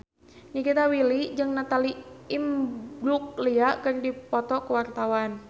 Nikita Willy jeung Natalie Imbruglia keur dipoto ku wartawan